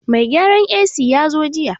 Mai gyaran AC ya zo jiya